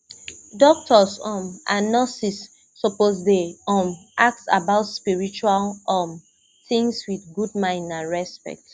doctors um and nurses suppose dey um ask about spiritual um things with good mind and respect